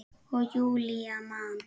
Og Júlía man.